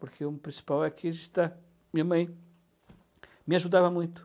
Porque o principal é que a gente está... Minha mãe me ajudava muito.